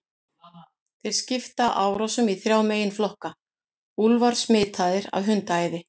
Þeir skipta árásunum í þrjá meginflokka: Úlfar smitaðir af hundaæði.